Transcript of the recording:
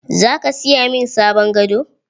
Zaka siya min sabon gado?